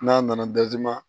N'a nana